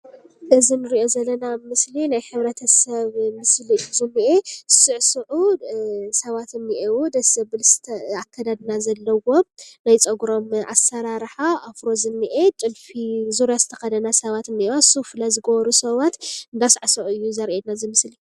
እዚ ንሪኦ ዘለና ምስሊ ናይ ሕብረተሰብ ምስሊ እዩ ዝኒአ፣ ዝስዕስዑ ሰባት እኔአው፣ ደስ ዘብል ኣከዳድና ዘለዎም ናይ ፀጉሮም ኣሰራርሓ ኣፍሮ ዝኒአ ጥልፊ ፣ ዙርያ ዝተኸደና ሰባት እኒአዋ ፣ ሱፍለ ዝገበሩ ሰባት እንዳሳዕስዑ እዩ ዘሪኤና ዝምስሊ።